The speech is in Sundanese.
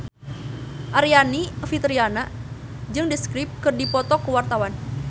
Aryani Fitriana jeung The Script keur dipoto ku wartawan